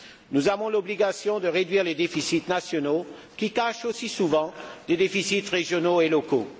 Nous avons l'obligation de réduire les déficits nationaux, qui cachent aussi souvent des déficits régionaux et locaux.